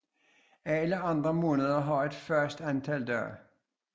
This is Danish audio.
Alle andre måneder har et fast antal dage